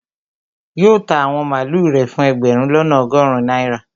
Yóò ta àwọn màlúù rẹ̀ fún ẹgbẹ̀rún lọ́nà ọgọrun náírà